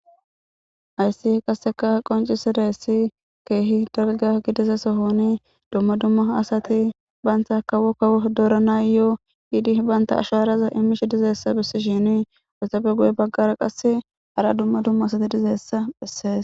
ayssi qasseka qoncisadayssi keehi dalga gididaysa sohoni dumma dumma asati baynta kawo kawo dooranayo7o hiidi baynta asharaza imish dizeessa bissi shini essapfe guye baggara qas hara dumma dumma asati dizeessa bhessees